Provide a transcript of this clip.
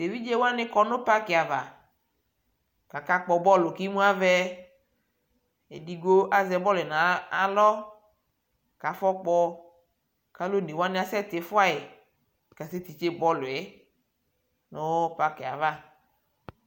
tɛ ɛvidzɛ wani kɔnʋparki aɣa kʋakakpɔ bɔlʋ kʋimʋ avɛ, ɛdigbɔ azɛ bɔlʋɛ nʋ alɔ kʋ aƒɔ kpɔ kʋ alʋ ɔnɛ wani asɛ tiƒʋai kasɛ tikyɛ bɔlʋɛ nʋparkiɛ aɣa